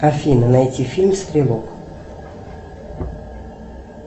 афина найти фильм стрелок